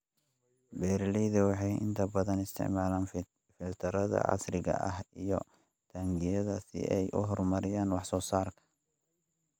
Beeraleydu waxay inta badan isticmaalaan filtarrada casriga ah iyo taangiyada si ay u horumariyaan wax soo saarka.